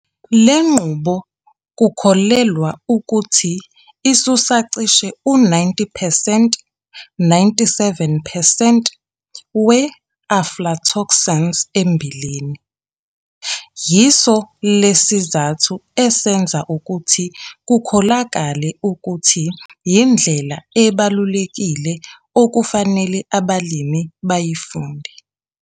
Le nqubo kukholelwa ukuthi isusa cishe u-90 percent 97 percent we-aflatoxins emmbileni. Yiso le sizathu esenza ukuthi kukholakale ukuthi yindlela ebalulekile okufanele abalimi bayifunde.